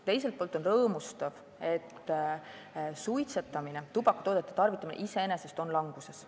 Teiselt poolt on rõõmustav, et suitsetamine ja üldse tubakatoodete tarvitamine iseenesest on languses.